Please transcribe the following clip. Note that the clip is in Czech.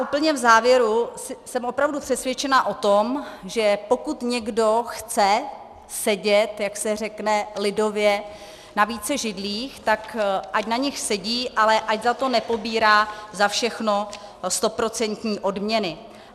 Úplně v závěru, jsem opravdu přesvědčena o tom, že pokud někdo chce sedět, jak se řekne lidově, na více židlích, tak ať na nich sedí, ale ať za to nepobírá za všechno stoprocentní odměny.